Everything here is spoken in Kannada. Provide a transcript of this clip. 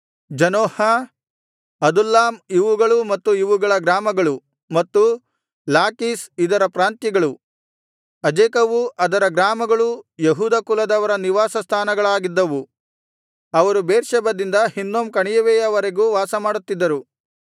ಜನೋಹ ಅದುಲ್ಲಾಮ್ ಇವುಗಳ ಮತ್ತು ಇವುಗಳ ಗ್ರಾಮಗಳು ಮತ್ತು ಲಾಕೀಷ್ ಇದರ ಪ್ರಾಂತ್ಯಗಳು ಅಜೇಕವೂ ಅದರ ಗ್ರಾಮಗಳು ಯೆಹೂದ ಕುಲದವರ ನಿವಾಸ ಸ್ಥಾನಗಳಾಗಿದ್ದವು ಅವರು ಬೇರ್ಷೆಬದಿಂದ ಹಿನ್ನೋಮ್ ಕಣಿವೆಯವರೆಗೂ ವಾಸಮಾಡುತ್ತಿದ್ದರು